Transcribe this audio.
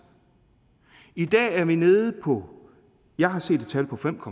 i dag er vi nede på jeg har set et tal på fem